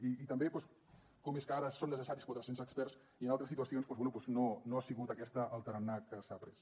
i també doncs com és que ara són necessaris quatre cents experts i en altres situacions doncs bé no ha sigut aquest el tarannà que s’ha pres